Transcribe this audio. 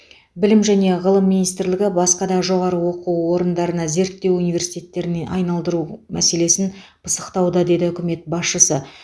білім және ғылым министрлігі басқа жоғары оқу орынындарына зерттеу университеттеріне айналдыру мәселесін пысықтауда деді үкімет басшысы